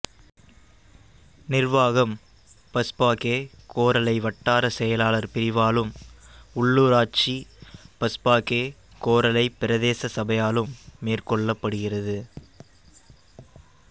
நிர்வாகம் பஸ்பாகே கோரளை வட்டார செயலாளர் பிரிவாலும் உள்ளூராட்சி பஸ்பாகே கோரளை பிரதேச சபையாலும் மேற்கொள்ளப்படுகிறது